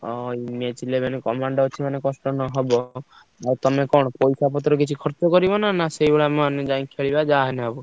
ଓହୋ। match eleven commando ଅଛି ମାନେ କଷ୍ଟ ହବ ଆଉ ତମେ କଣ ପଇସା ପତ୍ର କିଛି ଖର୍ଚ୍ଚ କରିବ ନାଁ ସେଇଭଳିଆ ଆମେ ଯାଇ ଖେଳିବା ଯାହା ହେଲେ ହବ?